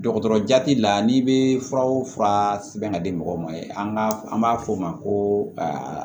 Dɔgɔtɔrɔ jati la n'i bɛ fura o fura sɛbɛn ka di mɔgɔw ma an b'a fɔ o ma ko